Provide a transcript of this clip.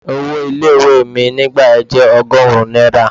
Owó ilé ìwé mi nígbà yẹn jẹ́ ọgọ́rùn-ún náírà.